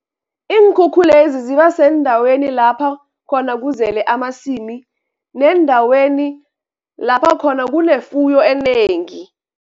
Iinkhukhulezi ziba seendaweni lapha khona kuzele amasimu, neendaweni lapha khona kunefuyo enengi.